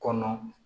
Kɔnɔ